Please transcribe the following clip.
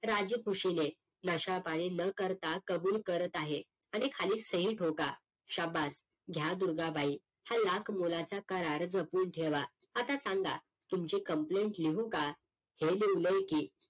नशा पाणी न करता कबूल करत आहे आणि खाली सही ठोकाशबास घ्या दुर्गा बाई हा लाख मोलाचा करार जपून ठेवा आता सांगा तुमची complain लिहू का हे लिव्हलं की